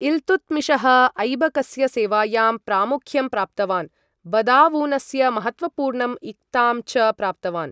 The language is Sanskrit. इल्तुत्मिशः ऐबकस्य सेवायां प्रामुख्यं प्राप्तवान्, बदावूनस्य महत्त्वपूर्णं इक्तां च प्राप्तवान्।